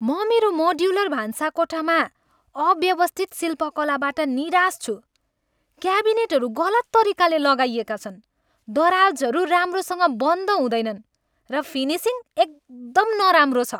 म मेरो मोड्युलर भान्साकोठामा अव्यवस्थित शिल्पकलाबाट निराश छु। क्याबिनेटहरू गलत तरिकाले लगाइएका छन्, दराजहरू राम्रोसँग बन्द हुँदैनन्, र फिनिसिङ एकदम नराम्रो छ।